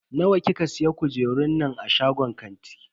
Nawa kika siya kujerun nan a shagon kantin?